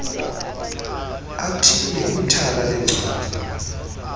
athile kwithala leencwadi